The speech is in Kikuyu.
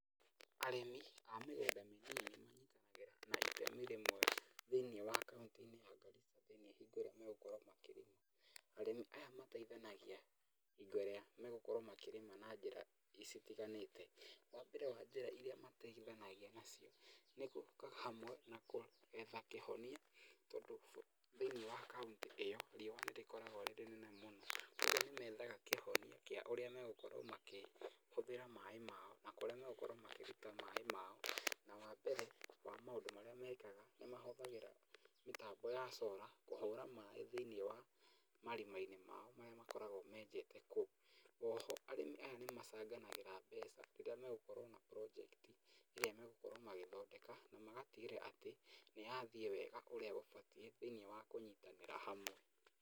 Arĩmi a mĩgũnda mĩnini manyitanagĩra na itemi rĩmwe thĩiniĩ wa kaũntĩ-inĩ ya Garissa, thĩinĩ hingo ĩrĩa megũkorwo makĩrĩma. Arĩmi aya mateithanagia hingo ĩrĩa megũkorwo makĩrĩma na njĩra citiganĩte. Wa mbere wa njĩra iria mateithanagia nacio nĩ gũka hamwe na gwetha kĩhonia tondũ thĩiniĩ wa kaũntĩ ĩyo, riũa nĩ rĩkoragwo rĩ rĩnene mũno, kuũguo nĩ methaga kĩhonia kĩa ũrĩa megũkorwo makĩhũthĩra maĩ mao, na kũrĩa megũkorwo makĩruta maĩ mao. Na wa mbere wa maũndũ marĩa mekaga nĩ kũhũthĩra mĩtambo ya cora kũhũra maĩ thiĩniĩ wa marima mao marĩa makoragwo menjete kũũ, oho arĩmi aya nĩ macanganagĩra mbeca rĩrĩa megũkorwo na project ĩrĩa megũkorwo magĩthondeka na magatigĩrĩra atĩ nĩ yathiĩ wega ũrĩa gũbatiĩ thĩiniĩ wa kũnyitanĩra hamwe.